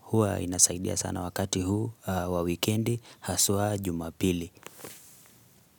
huwa inasaidia sana wakati huu wa wikendi haswa jumapili.